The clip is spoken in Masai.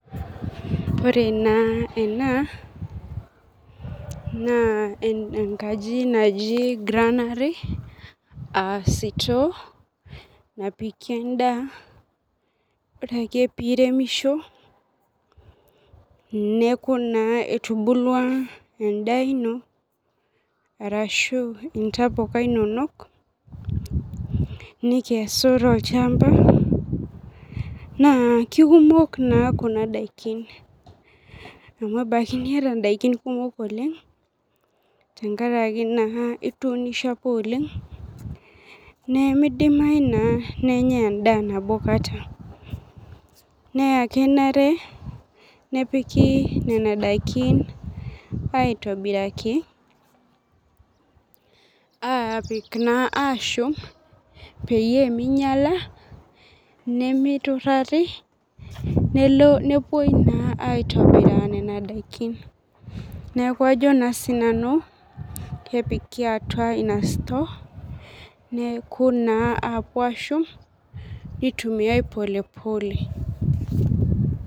Ore na ena na enkaji naji grannery [cs[a sitoo napiki endaa ore ake piremisho neakubna etubulua endaabino arashu ntapuka inonok nikesu tolchamba na kekumok na kuna dakini amu enaki niata ndakin kumok tenkaraki na ituunishe apa oleng nemidimai na nenyae endaa nabokata na kenare nepiki nona dakini aitobiraki aapik naa ashum peyie minyalanimitueari nelo na neaku ajo na sinanu kepukiatua inasote neakuapuo ashum nitumiai polepole